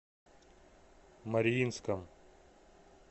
мариинском